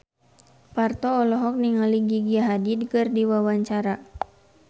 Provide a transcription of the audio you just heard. Parto olohok ningali Gigi Hadid keur diwawancara